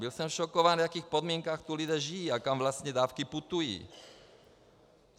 Byl jsem šokován, v jakých podmínkách tu lidé žijí a kam vlastně dávky putují.